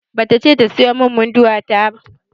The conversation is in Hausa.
Babata ce ta siyo min Munduwa ta.